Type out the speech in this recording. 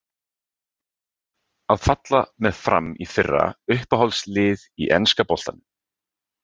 Að falla með FRAM í fyrra Uppáhalds lið í enska boltanum?